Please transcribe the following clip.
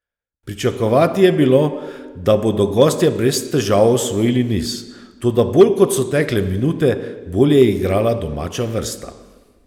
Pričakovati je bilo, da bodo gostje brez težav osvojili niz, toda bolj kot so tekle minute, bolje je igrala domača vrsta.